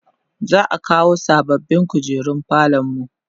za'a kawo sababbin kujeru falonmu